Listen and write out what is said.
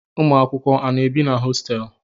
Ụmụakwụkwọ a na-ebi na hositelu?